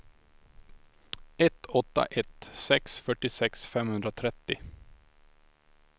ett åtta ett sex fyrtiosex femhundratrettio